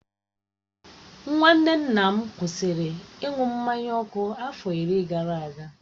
Nwanne nna m kwụsịrị ịṅụ mmanya ọkụ afọ iri gara aga.